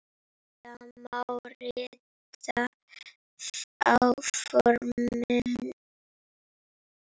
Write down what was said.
Það má rita á forminu